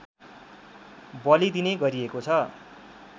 बलिदिने गरिएको छ